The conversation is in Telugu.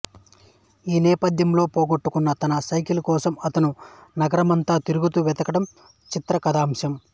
ఈ నేపథ్యంలో పోగొట్టుకున్న తన సైకిల్ కోసం అతను నగరమంతా తిరుగుతూ వెతకడం చిత్ర కథాంశం